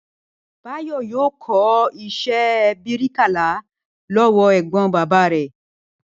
Báyò̩ yóò kó̩ is̩é̩ bíríkìlà ló̩wó̩ è̩gbó̩n bàbá rè̩